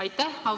Aitäh!